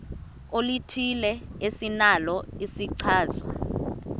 oluthile esinalo isichazwa